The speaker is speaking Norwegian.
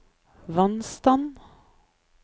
vannstand